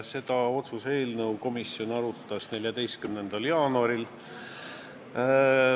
Seda otsuse eelnõu komisjon arutas 14. jaanuaril.